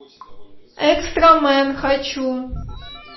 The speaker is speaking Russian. экстрамен хочу